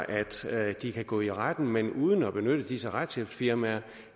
altså er at de kan gå i retten men uden at benytte disse retshjælpsfirmaer